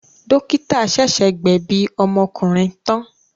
Dọ́kítá ṣẹ̀ṣẹ̀ gbẹ̀bi ọmọkùnrin tán.